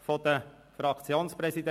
Als die Voten abgegeben wurden, konnte ich